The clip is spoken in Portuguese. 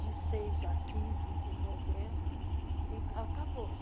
de seis a quinze de novembro e acabou.